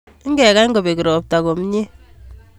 Ikekany kobek komie ropta